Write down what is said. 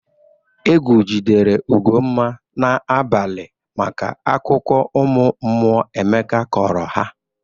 Egwu jidere Ugomma n'abalị maka akụkụ ụmụ mmụọ Emeka kọrọ ha.